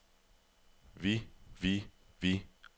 vi vi vi